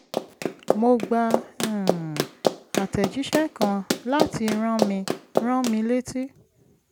mo gba um àtẹ̀jíṣẹ́ kan láti rán mi rán mi létí